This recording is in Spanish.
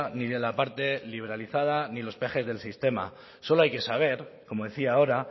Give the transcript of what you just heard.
ni de la parte liberalizada ni los peajes del sistema solo hay que saber como decía ahora